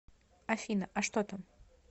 афина а что там